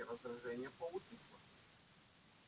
но всё-таки раздражение поутихло